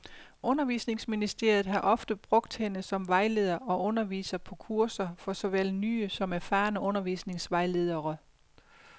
Undervisningsministeriet har ofte brugt hende som vejleder og underviser på kurser for såvel nye som erfarne undervisningsvejledere.